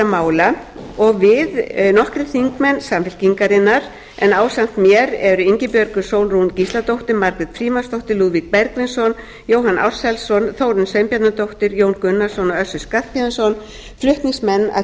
mála og við nokkrir þingmenn samfylkingarinnar en ásamt mér er ingibjörg sólrún gísladóttir margrét frímannsdóttir lúðvík bergvinsson jóhann ársælsson þórunn sveinbjarnardóttir jón gunnarsson og össur skarphéðinsson flutningsmenn að